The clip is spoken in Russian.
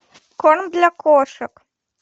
корм для кошек